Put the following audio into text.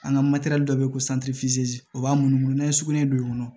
An ka dɔ bɛ yen ko o b'a munumunu n'a ye sugunɛ don i kɔnɔ